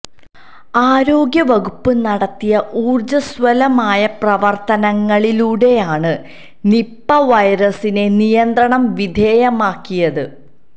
ആരോഗ്യ വകുപ്പ് നടത്തിയ ഊർജസ്വലമായ പ്രവർത്തനങ്ങളിലൂടെയാണ് നിപ്പ വൈറസിനെ നിയന്ത്രണ വിധേയമാക്കിയത്